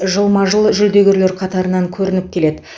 жылма жыл жүлдегерлер қатарынан көрініп келеді